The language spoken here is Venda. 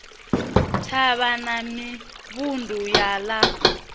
thavha na mivhundu ya ḽa